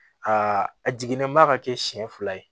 Aa a jiginnen ba ka kɛ siɲɛ fila ye